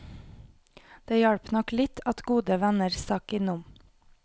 Det hjalp nok litt at gode venner stakk innom.